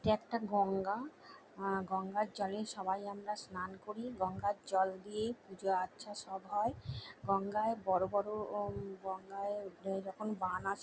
এটা একটা গঙ্গা অ্যা গঙ্গার জলে সবাই আমরা স্নান করি গঙ্গার জল দিয়ে পূজা আর্চা সব হয় গঙ্গায় বড়ো বড়ো ও গঙ্গায় এই রকম বান আসে।